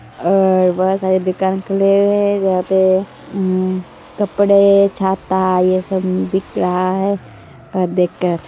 और यह बहुत सारी दुकान खुली हुई है है यहां पे अम्म्म कपड़े छाता यह सब बिक रहा है और देख कर --